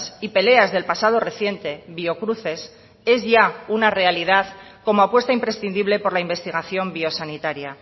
y peleas del pasado reciente biocruces es ya una realidad como apuesta imprescindible por la investigación biosanitaria